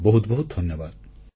ବହୁତ ବହୁତ ଧନ୍ୟବାଦ